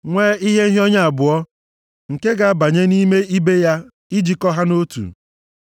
nwee ihe nhịọnye abụọ nke ga-abanye nʼime ibe ya ijikọ ha nʼotu. Ha rụrụ mbudo ibo ụlọ nzute ahụ niile otu a.